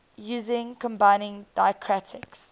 using combining diacritics